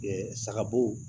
sagabo